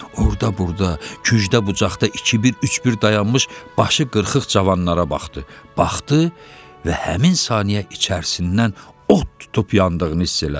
Orda-burda, kücdə-bucağda iki-bir, üç-bir dayanmış başı qırxıx cavanlara baxdı, baxdı və həmin saniyə içərisindən od tutub yandığını hiss elədi.